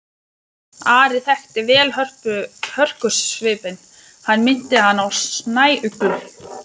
Ari þekkti vel hörkusvipinn, hann minnti hann á snæuglu.